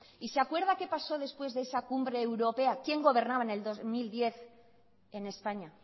y se acuerda qué pasó después de esa cumbre europea quién gobernaba en dos mil diez en españa